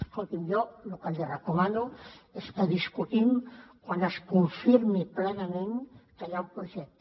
escolti jo el que li recomano és que discutim quan es confirmi plenament que hi ha un projecte